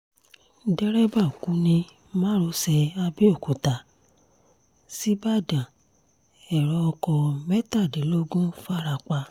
derébà kú ní márosẹ̀ àbẹ̀òkúta ṣíbàdàn ẹ̀rọ ọkọ̀ mẹ́tàdínlógún farapa